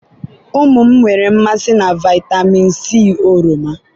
ụmụ m nwere mmasị na vitamin c oroma